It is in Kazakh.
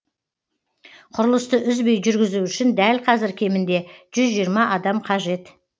құрылысты үзбей жүргізу үшін дәл қазір кемінде жүз жиырма адам қажет